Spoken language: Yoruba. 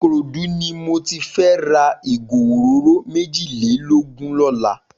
Ikorodu ni mò ti fè rà igó óróró méjilélógùn lòlá